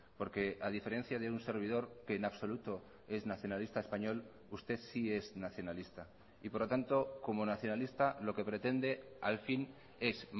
porque a diferencia de un servidor que en absoluto es nacionalista español usted sí es nacionalista y por lo tanto como nacionalista lo que pretende al fin es